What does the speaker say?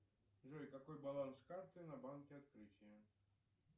джой какой баланс карты на банке открытие